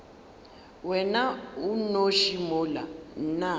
wena o nnoši mola nna